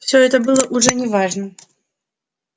все это было уже не важно